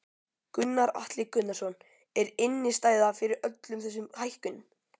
Gunnar Atli Gunnarsson: Er innistæða fyrir öllum þessum hækkunum?